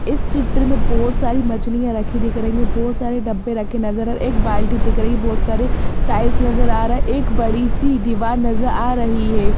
इस चित्र में बहोत सारी मछलियां रखी दिख रही है बहुत सारे डब्बे रखे नजर आर एक बाल्टी दिख रही बहोत सारे टाइल्स नजर आ रहा है एक बड़ी सी दीवार नजर आ रही है।